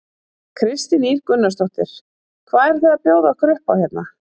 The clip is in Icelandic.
Kristín Ýr Gunnarsdóttir: Hvað eruð þið að bjóða okkur upp á hérna?